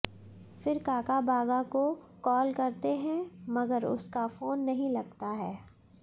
फिर काका बागा को कॉल करते हैं मगर उसका फोन नहीं लगता है